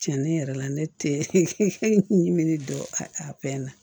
Cɛnni yɛrɛ la ne tɛ ɲinini dɔ a fɛn na